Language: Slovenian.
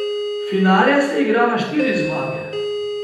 Finale se igra na štiri zmage.